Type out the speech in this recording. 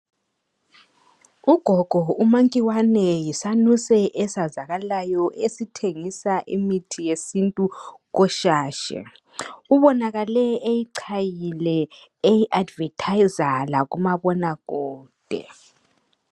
Ugogo umankiwane yisanuse esazakalayo esithengisa imithu yesintu koshashe ubonakale eyichayile eyi advertiser lakumabona kude.